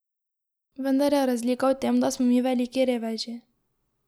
Vendar je razlika v tem, da smo mi veliki reveži...